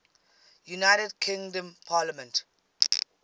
united kingdom parliament